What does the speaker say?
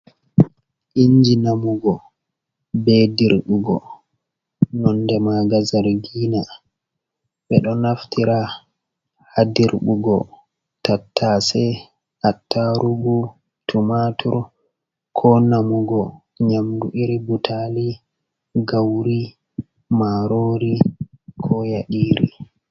Inji namugo be dirɓugo nonde maga zargina, ɓeɗo naftira ha dirɓugo tattase, attarugu, tumatur, ko namugo nyamdu iri butali, gauri, marori, ko yadiri.